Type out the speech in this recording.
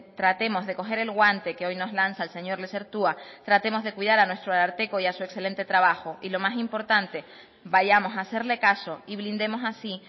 tratemos de coger el guante que hoy nos lanza el señor lezertua tratemos de cuidar a nuestro ararteko y a su excelente trabajo y lo más importante vayamos a hacerle caso y blindemos así